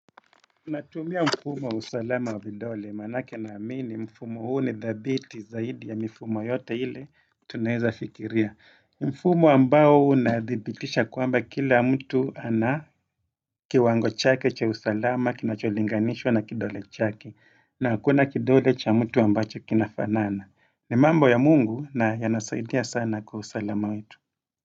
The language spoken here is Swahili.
Natumia mfumo usalama wa vidole, maanake naamini, mfumo huu ni the dhabiti zaidi ya mifumo yote ile tunaeza fikiria. Mfumo ambao unadhibitisha kwamba kila mtu ana kiwango chake cha usalama, kinacholinganishwa na kidole chake, na hakuna kidole cha mtu ambacho kinafanana. Ni mambo ya mungu na yanasaidia sana kwa usalama wetu.